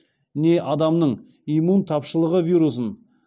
не адамның иммун тапшылығы вирусын